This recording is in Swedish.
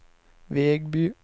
Vegby